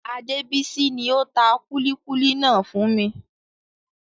Adebisi ni ó tà kúlíkúlí náà fún mi.